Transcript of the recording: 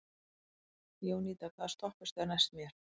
Jónída, hvaða stoppistöð er næst mér?